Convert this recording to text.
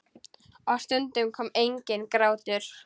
Og stundum kom enginn grátur.